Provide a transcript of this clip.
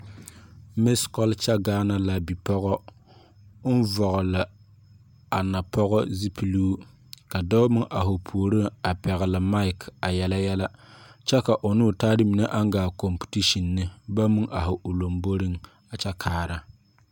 Misa culture Gaana la a bipɔgɔ ɔn vɔgle a pɔgɔ zupiluu ka doɔ meng arẽ ɔ poɔring a pɛgli mike a yela yele kye ka ɔ ne ɔ taa mene nang gaa competition ne bang meng arẽ ɔ lɔmbori a kye kaara.